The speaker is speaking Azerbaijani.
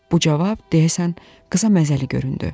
Bu cavab, deyəsən, qıza məzəli göründü.